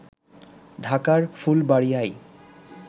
ঢাকার ফুলবাড়ীয়ায়